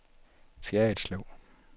Fjerritslev